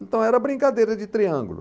Então era brincadeira de triângulo.